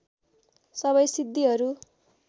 सबै सिद्धिहरू